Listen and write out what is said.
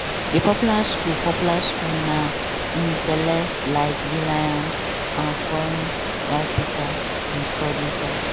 di popular school popular school na im celebs like will.i.am and forest whitaker bin study for.